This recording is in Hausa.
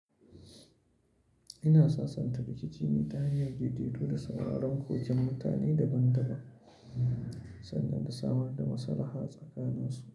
Ina sasanta rikici ne ta hanyar daidaito da sauraren koken mutane daban-daban sannan na samar da maslaha tsakanin su.